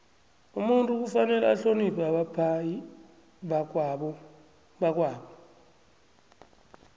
umuntu kufanele ahloniphe abaphai bakwabo